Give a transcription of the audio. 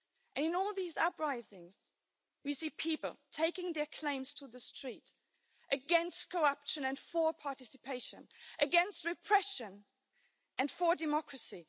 In all of these uprisings we see people taking their claims to the street against corruption and for participation, against repression and for democracy.